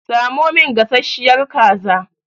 Samo min gasashiyar kaza!